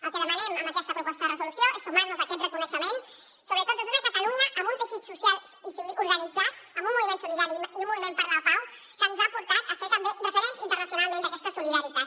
el que demanem amb aquesta proposta de resolució és sumar nos a aquest reconeixement sobretot des d’una catalunya amb un teixit social organitzat amb un moviment solidari i un moviment per la pau que ens ha portat a ser també referents internacionalment d’aquesta solidaritat